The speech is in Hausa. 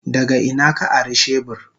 Daga ina ka ari shebur?